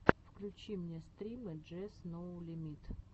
включи мне стримы джес ноу лимит